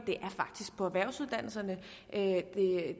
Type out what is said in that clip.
faktisk er på erhvervsuddannelserne